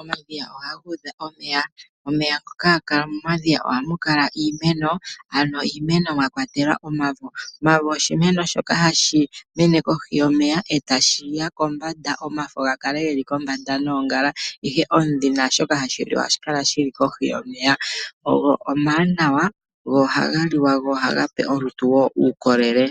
omadhiya ohaga udha omeya. Omeya ngoka haga kala mo madhiya ohamu kala iimeno ano iimeno mwa kwatelwa omavo. Omavo oshimeno shoka hashi mene kohi yomeya e tashi ya kombanda, omafo ga kale geli kombanda noongala ihe omudhi naashoka hashi liwa ohashi kala shili kohi yomeya. Ogo omawanawa go ohaga liwa go ohaga pe olutu wo uukolele.